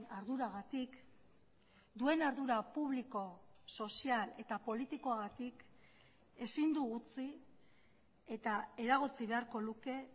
arduragatik duen ardura publiko sozial eta politikoagatik ezin du utzi eta eragotzi beharko luke